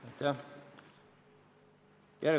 Aitäh!